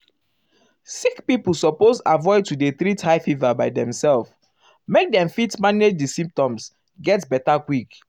sick pipo suppose avoid to dey treat high fever by demself make dem fit manage di um symptoms get um beta quick.